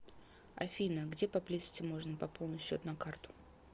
афина где поблизости можно пополнить счет на карту